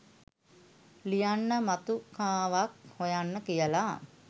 ලියන්න මතුකාවක් හොයන්න කියල